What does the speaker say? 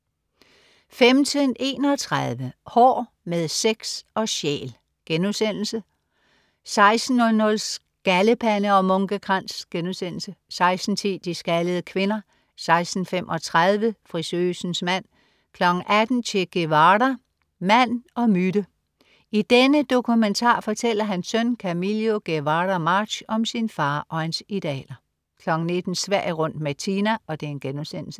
15.31 Hår med sex og sjæl* 16.00 Skaldepande og munkekrans* 16.10 De skaldede kvinder* 16.35 Frisøsens mand* 18.00 Che Guevara, mand og myte. I denne dokumentar fortæller hans søn Camilio Guevara March om sin far og hans idealer 19.00 Sverige rundt med Tina*